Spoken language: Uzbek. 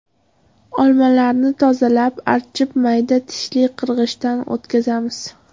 Olmalarni tozalab, archib mayda tishli qirg‘ichdan o‘tkazamiz.